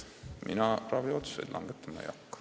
Mina raviotsuseid langetama ei hakka.